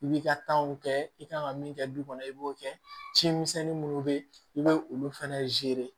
I b'i ka kɛ i kan ka min kɛ du kɔnɔ i b'o kɛ cimisɛnnin minnu bɛ yen i bɛ olu fɛnɛ